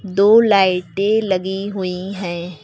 दो लाइटे लगी हुई हैं।